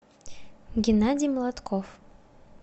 геннадий молотков